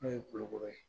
N'o ye kulukoro ye